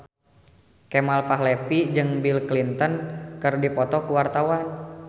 Kemal Palevi jeung Bill Clinton keur dipoto ku wartawan